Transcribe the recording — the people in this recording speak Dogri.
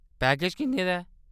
पैकेज किन्ने दा ऐ ?